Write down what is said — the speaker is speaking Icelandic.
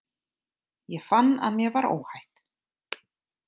Ég fann að mér var óhætt.